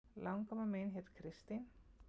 Langamma mín hét Kristín